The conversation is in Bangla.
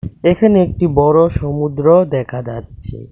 এখানে একটি বড়ো সমুদ্র দেখা যাচ্ছে .